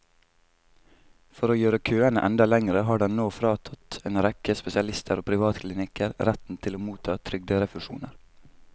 For å gjøre køene enda lengre har den nå fratatt en rekke spesialister og privatklinikker retten til å motta trygderefusjoner.